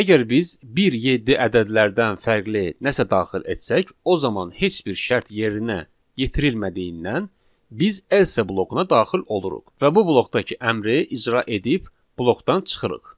Əgər biz 1-7 ədədlərdən fərqli nəsə daxil etsək, o zaman heç bir şərt yerinə yetirilmədiyindən biz else blokuna daxil oluruq və bu blokdakı əmri icra edib blokdan çıxırıq.